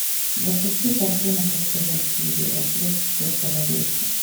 запусти картину после валькирии рассвет четвертого рейха